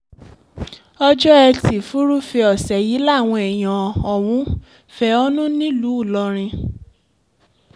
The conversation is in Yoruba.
ọjọ́ etí furuufee ọ̀sẹ̀ yìí làwọn èèyàn ọ̀hún fẹ̀hónú nílùú ìlọrin